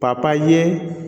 papaye